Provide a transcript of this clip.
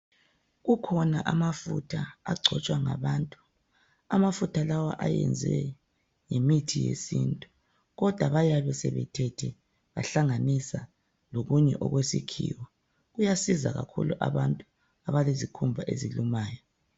Kukhona amafutha agcotshwa ngabantu. Anafutha lawa ayenziwe ngemithi yesintu kodwa bayabe sebethethe bahlanganisa lokunye okwesikhiwa. Kuyasiza kakhulu abantu abalezikhumba ezilumayo.